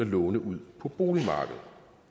låne ud på boligmarkedet